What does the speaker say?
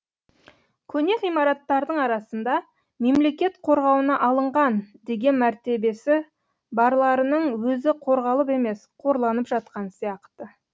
көне ғимараттардың арасында мемлекет қорғауына алынған деген мәртебесі барларының өзі қорғалып емес қорланып жатқан сияқты